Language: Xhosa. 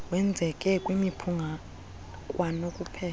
wenzeke kwimiphunga kwanokubeka